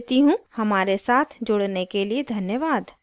हमारे साथ जुड़ने के लिए धन्यवाद